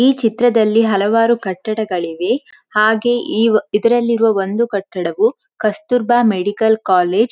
ಈ ಚಿತ್ರದಲ್ಲಿ ಹಲವಾರು ಕಟ್ಟಡಗಳಿವೆ ಹಾಗೆ ಈ ವ ಇದರಲ್ಲಿರುವ ಒಂದು ಕಟ್ಟಡವು ಕಸ್ತೂರ್ಬಾ ಮೆಡಿಕಲ್ ಕಾಲೇಜ್ .